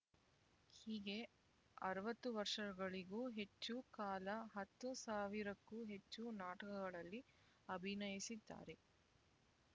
ಹೀಗೆ ಅರವತ್ತು ವರ್ಷಗಳಿಗೂ ಹೆಚ್ಚು ಕಾಲ ಹತ್ತು ಸಾವಿರಕ್ಕೂ ಹೆಚ್ಚು ನಾಟಕಗಳಲ್ಲಿ ಅಭಿನಯಿಸಿದ್ದಾರೆ